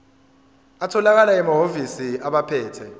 atholakala emahhovisi abaphethe